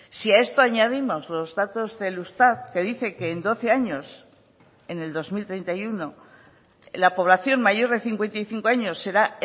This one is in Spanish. si a esto añadimos los datos del eustat que dice que en doce años en el dos mil treinta y uno la población mayor de cincuenta y cinco años será